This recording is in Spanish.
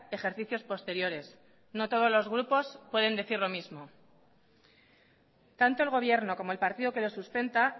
ejercicios posteriores no todos los grupos pueden decir lo mismo tanto el gobierno como el partido que lo sustenta